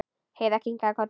Heiða kinkaði kolli.